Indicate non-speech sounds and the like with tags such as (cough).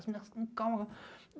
As meninas (unintelligible)